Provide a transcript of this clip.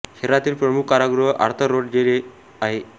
शहरातील प्रमुख कारागृह आर्थर रोड जेल हे आहे